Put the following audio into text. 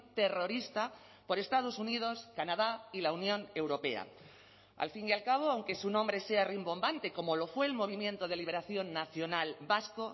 terrorista por estados unidos canadá y la unión europea al fin y al cabo aunque su nombre sea rimbombante como lo fue el movimiento de liberación nacional vasco